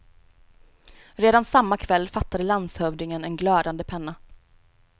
Redan samma kväll fattade landshövdingen en glödande penna.